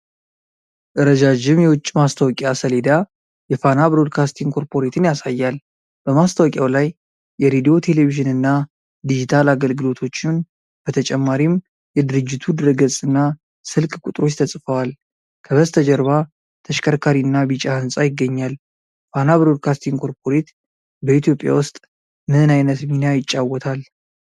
ረጃጅም የውጪ ማስታወቂያ ሰሌዳ የፋና ብሮድካስቲንግ ኮርፖሬትን ያሳያል። በማስታወቂያው ላይ የሬዲዮ፣ ቴሌቪዥንና ዲጂታል አገልግሎቶችን። በተጨማሪም የድርጅቱ ድረ ገጽ እና ስልክ ቁጥሮች ተጽፈዋል። ከበስተጀርባ ተሽከርካሪና ቢጫ ህንጻ ይገኛል። ፋና ብሮድካስቲንግ ኮርፖሬት በኢትዮጵያ ውስጥ ምን አይነት ሚና ይጫወታል?